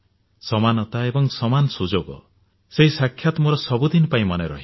ସମାନତା ଏବଂ ସମାନ ସୁଯୋଗ ସେହି ସାକ୍ଷାତ ମୋର ସବୁଦିନ ପାଇଁ ମନେ ରହିବ